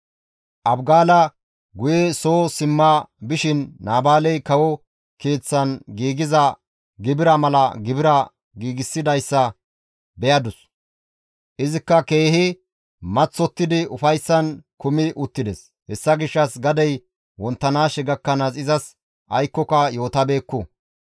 Abigaala guye soo simma bishin Naabaaley kawo keeththan giigiza gibira mala gibira giigsidayssa beyadus. Izikka keehi maththottidi ufayssan kumi uttides. Hessa gishshas gadey wonttanaashe gakkanaas izas aykkoka yootabeekku.